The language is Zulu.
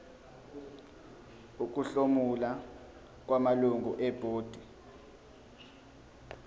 ukuhlomula kwamalungu ebhodi